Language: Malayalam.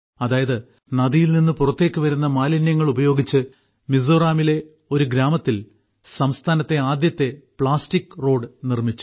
അതായത് നദിയിൽ നിന്ന് പുറത്തേക്ക് വരുന്ന മാലിന്യങ്ങൾ ഉപയോഗിച്ച് മിസോറാമിലെ ഒരു ഗ്രാമത്തിൽ സംസ്ഥാനത്തെ ആദ്യത്തെ പ്ലാസ്റ്റിക് റോഡ് നിർമ്മിച്ചു